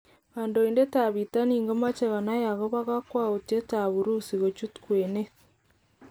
Kadoinatet tab Bitonin komoche konai okobo kokwautyet tab Urusi kochut kwenet.